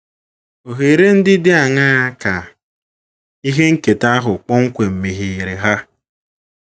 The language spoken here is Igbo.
Ohere ndị dị aṅaa ka ihe nketa ahụ kpọmkwem megheere ha?